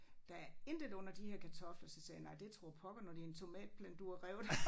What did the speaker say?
Der er intet under de her kartofler så sagde jeg nej det tror pokker når det en tomatplante du har revet